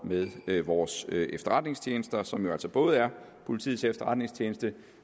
med vores efterretningstjenester som jo altså både er politiets efterretningstjeneste